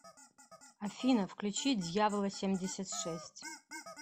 афина включи дьявола семьдесят шесть